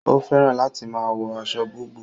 O fẹràn láti máa wọ aṣọ búbù